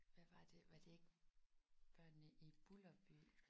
Hvad var det var det ikke Børnene i Bulderby?